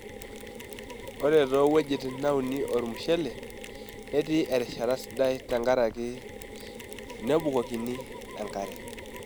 Ore too wuejitn nauni ormushele ,netii erishata sidai tenkaraki nebukokini enkare.